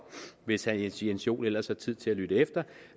hvis herre jens joel ellers har tid til at lytte efter